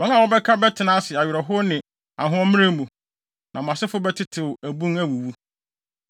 Wɔn a wɔbɛka no bɛtena ase awerɛhow ne ahoɔmmerɛw mu. Na mo asefo bɛtetew abun awuwu.